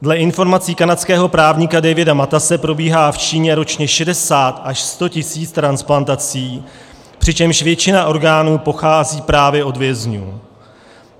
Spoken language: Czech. Dle informací kanadského právníka Davida Matase probíhá v Číně ročně 60 až 100 tisíc transplantací, přičemž většina orgánů pochází právě od vězňů.